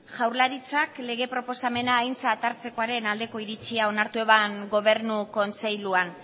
jaurlaritzak lege proposamena aintzat hartzekoaren aldeko iritzia onartu eban gobernu kontseiluan